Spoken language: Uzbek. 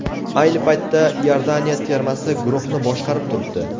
Ayni paytda Iordaniya termasi guruhni boshqarib turibdi.